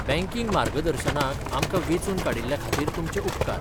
Banking मार्गदर्शनाक आमकां वेंचून काडिल्ल्या खातीर तुमचे उपकार.